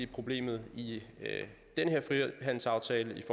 problemet i den her frihandelsaftale i